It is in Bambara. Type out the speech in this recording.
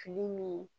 Fili min